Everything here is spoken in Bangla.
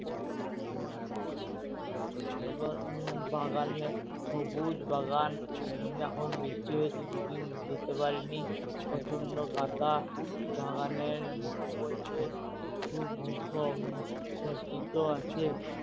বাগানে সবুজ বাগান এখন বৃষ্টি হয়েছে দুদিন যেতে পারিনি প্রচন্ড কাদা বাগানের মধ্যে সজ্জিত আছে